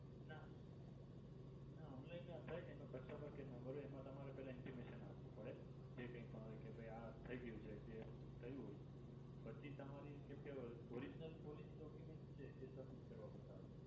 ના online આપણે એનો customer care number હોય એમા તમારે intimation આપવું પડે જે કઈ પણ હોય કે ભાઈ આ થઈ ગયું છે જે થયું હોય પછી તમારી કેમ કે original policy ડોક્યુમેંટ્સ છે એ સબમિટ કરવા પડતાં હોય છે.